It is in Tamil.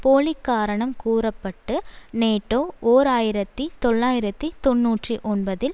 போலி காரணம் கூற பட்டு நேட்டோ ஓர் ஆயிரத்தி தொள்ளாயிரத்தி தொன்னூற்றி ஒன்பதில்